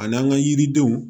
A n'an ka yiridenw